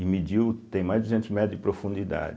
E mediu, tem mais de duzentos metros de profundidade.